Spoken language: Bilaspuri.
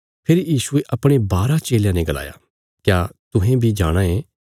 फेरी यीशुये अपणे बारा चेलयां ने गलाया क्या तुहें बी जाणा चाँये